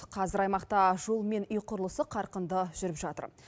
қазір аймақта жол мен үй құрылысы қарқынды жүріп жатыр